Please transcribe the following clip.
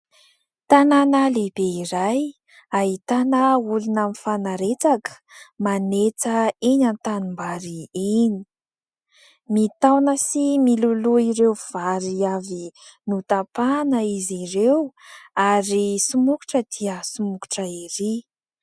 Tanàna lehibe iray ahitana olona mifanaretsaka manetsa eny an-tanimbary eny mitaona sy miloloha ireo vary avy notapahina izy ireo ary somokotra dia somokotra ery